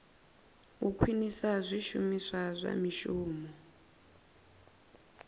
u khwinisa zwishumiswa zwa mishumo